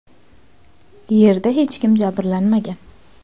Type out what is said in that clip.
Yerda hech kim jabrlanmagan.